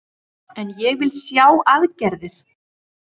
En ég vil sjá aðgerðir